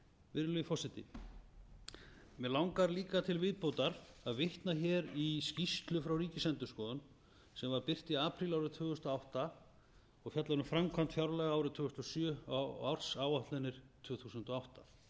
virðulegi forseti mig langar líka við viðbótar að vitna hér í skýrslu frá ríkisendurskoðun sem var birt í apríl árið tvö þúsund og átta og fjallar um framkvæmd fjárlaga árið tvö þúsund og sjö á ársáætlanir tvö þúsund og átta